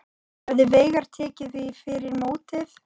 Hefði Veigar tekið því fyrir mótið?